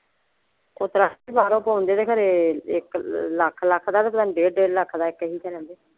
ਓਸਤਰਾਂ ਬਾਹਰੋਂ ਪਵਾਉਂਦੇ ਤੇ ਖਰੇ ਇੱਕ ਲੱਖ ਲੱਖ ਦਾ ਪਤਾ ਨਹੀਂ ਡੇਢ ਡੇਢ ਲੱਖ ਦਾ ਕਈ ਤਰ੍ਹਾਂ ਦੇ?